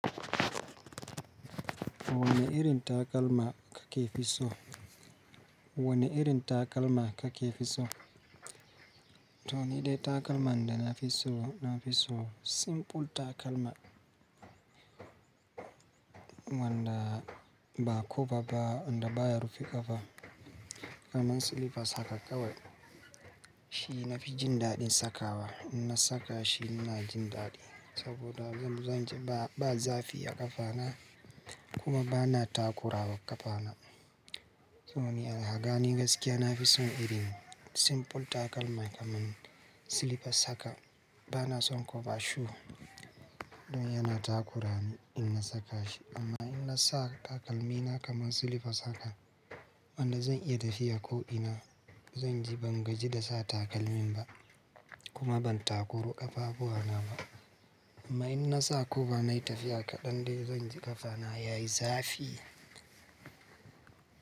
Wane irin takalma ka ke fi so? Wane irin takalma ka ke fi so? To ni dai takalma da na fi so, na fi so simple takalma wanda ba koba ba, wanda baya rufe ƙafa kaman silipas haka kawai. Shi na fi jin daɗin saka wa. In na saka shi ina ji daɗi saboda zan ji ba zafi a ƙafana kuma bana takura wa ƙafana. To ni alhaga ni gaskiya na fi son irin simple takalma kaman silipas haka. Bana son koba shu don yana takura ni in na saka shi. Amma in na sa takalmina kaman silipas haka wanda zan iya tafiya ko ina, zan ji ban gaji da sa takalmin ba kuma ban takuru ƙafafuwan na ba. Amma in na sa koba na yi tafiya kaɗan dai zan ji ƙafana yayi zafi.